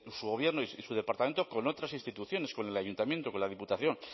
su gobierno y su departamento con otras instituciones con el ayuntamiento con la diputación